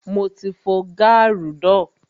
Mo ti fo gaaru náà